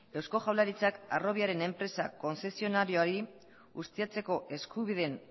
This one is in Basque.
eusko jaurlaritzak harrobiaren enpresa kontzezionarioari ustiatzeko eskubideen